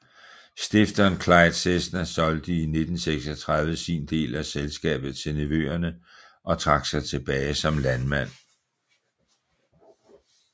Stifteren Clyde Cessna solgte i 1936 sin del af selskabet til nevøerne og trak sig tilbage som landmand